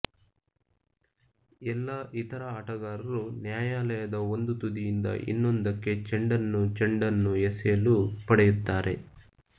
ಎಲ್ಲಾ ಇತರ ಆಟಗಾರರು ನ್ಯಾಯಾಲಯದ ಒಂದು ತುದಿಯಿಂದ ಇನ್ನೊಂದಕ್ಕೆ ಚೆಂಡನ್ನು ಚೆಂಡನ್ನು ಎಸೆಯಲು ಪಡೆಯುತ್ತಾರೆ